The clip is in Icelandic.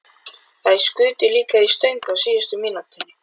Þær skutu líka í stöng á síðustu mínútunni.